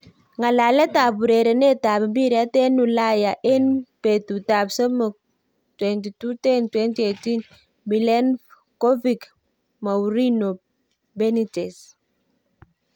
Ngalalet ap urerenet ap mpiret eng ulaya eng petut ap somok 22.10.2018.Milenkovic, Mourinho, Benitez,